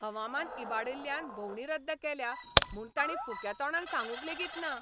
हवामान इबाडिल्ल्यान भोंवडी रद्द केल्या म्हूण ताणीं फुक्या तोंडान सांगूक लेगीत ना.